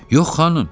Yox, xanım.